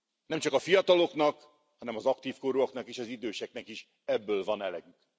Nem csak a fiataloknak, hanem az aktív korúaknak és az időseknek is ebből van elegünk.